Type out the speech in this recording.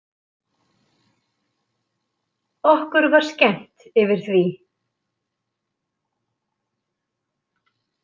Okkur var skemmt yfir því.